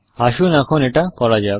আসুন এখন এটা করা যাক